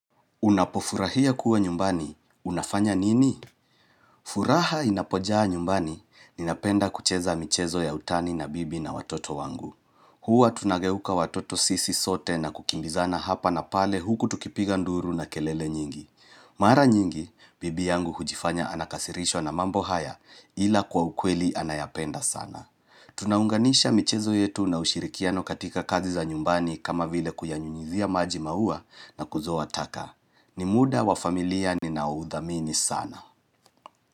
Unapofurahia kuwa nyumbani, unafanya nini? Furaha inapojaa nyumbani, ninapenda kucheza michezo ya utani na bibi na watoto wangu. Hua tunageuka watoto sisi sote na kukimbizana hapa na pale huku tukipiga nduru na kelele nyingi. Mara nyingi, bibi yangu hujifanya anakasirishwa na mambo haya ila kwa ukweli anayapenda sana. Tunaunganisha michezo yetu na ushirikiano katika kazi za nyumbani kama vile kuyanyunyizia maji maua na kuzoa taka. Nimuda wa familia ninaoudhamini sana.